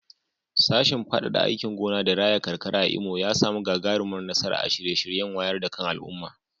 Sashen fadada aikin gona da raya karkara a Imo ya samu gagarumar nasara a shirye-shiryen wayar da kan al'umma.